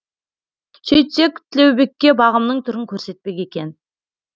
сөйтсек тілеубекке бағымның түрін көрсетпек екен